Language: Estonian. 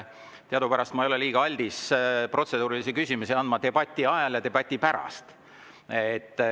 Teadupärast ma ei ole debati huvides kuigi aldis andma protseduuriliste küsimuste luba debati ajal.